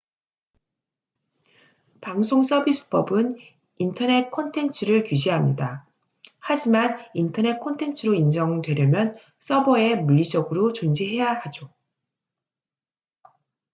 방송 서비스 법은 인터넷 콘텐츠를 규제합니다 하지만 인터넷 콘텐츠로 인정되려면 서버에 물리적으로 존재해야 하죠